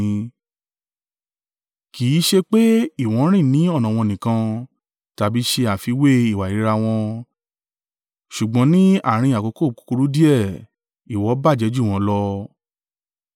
Kì í sẹ pé ìwọ rìn ni ọ̀nà wọn nìkan, tàbí ṣe àfiwé ìwà ìríra wọn ṣùgbọ́n ní àárín àkókò kúkúrú díẹ̀, ìwọ bàjẹ́ jù wọ́n lọ